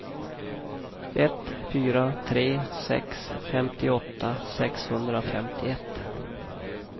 ett fyra tre sex femtioåtta sexhundrafemtioett